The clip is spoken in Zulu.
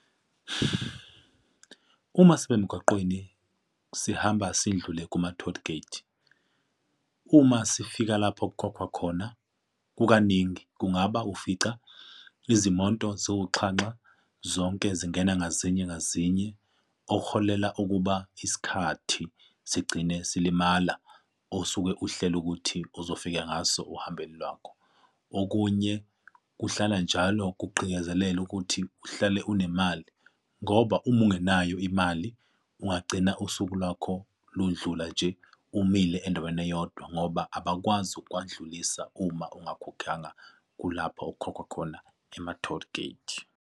Uma sime emgaqweni sihamba sidlule kuma-tollgate. Uma sifika lapho okukhokhwa khona kukaningi kungaba ufica izimoto ziwuxhanxa zonke zingena ngazinye ngazinje okuholela ukuba isikhathi sigcine silimala osuke uhlele ukuthi ozofika ngaso ohambeni lwakho. Okunye kuhlala njalo kuqikezelelwa ukuthi uhlale unemali ngoba uma ungenayo imali ungagcina usuku lwakho lundlula nje umile endaweni eyodwa ngoba abakwazi ukuwandlulisa uma ungakhokhanga kulapho okukhokhwa khona ema-tollgate.